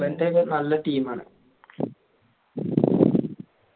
ഇംഗ്ലണ്ടോക്കെ നല്ല team ആണ്